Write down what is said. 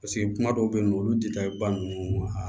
Paseke kuma dɔw bɛ yen nɔ olu ba ninnu a